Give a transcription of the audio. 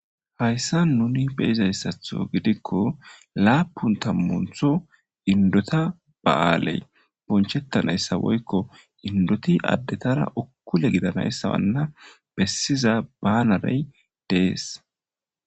Hayssa nuni beyizayssatho gidikko laapun tammuntho indota ba'aaley bonchettanayssa woykko indoti addetara uukkule gidanayssa wanna bessiza baanarey dees